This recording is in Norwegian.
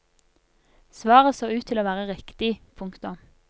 Svaret så ut til å være riktig. punktum